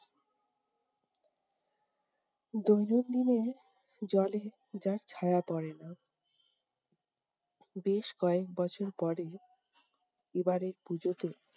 দৈনন্দিনের জলে যার ছাঁয়া পড়েনা। বেশ কয়েক বছর পরে এবারের পুজোতে